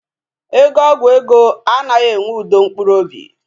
Ego ọgwụ ego anaghị enye udo mkpụrụ obi